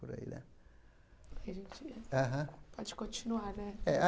Por aí né a gente aham pode continuar, né? É